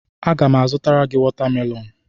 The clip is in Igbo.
Aga m azụtara gị watamelonụ.